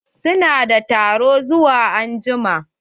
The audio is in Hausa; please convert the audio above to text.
Su na da taro zuwa anjima.